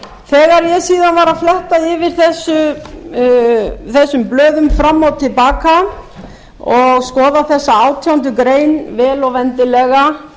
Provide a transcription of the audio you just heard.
þegar ég síðan var að fletta yfir þessum blöðum fram og til baka og skoða þessa átjándu grein vel